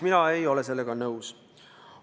Mina ei ole sellega nõus.